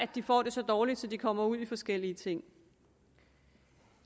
de får det så dårligt at de kommer ud i forskellige ting